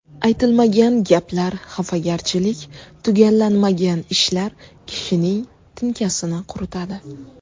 Aytilmagan gaplar, xafagarchilik, tugallanmagan ishlar kishining tinkasini quritadi.